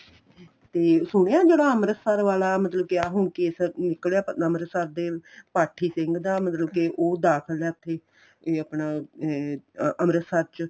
ਤੇ ਸੁਣਿਆ ਜਿਹੜਾ ਅੰਮ੍ਰਿਤਸਰ ਵਾਲਾ ਗਿਆ ਹੁਣ case ਨਿਕਲਿਆ ਅੰਮ੍ਰਿਤਸਰ ਦੇ ਪਾਠੀ ਸਿੰਘ ਦਾ ਮਤਲਬ ਕੇ ਉਹ ਦਾਖਲ ਏ ਉਥੇ ਇਹ ਆਪਣਾ ਇਹ ਅੰਮ੍ਰਿਤਸਰ ਚ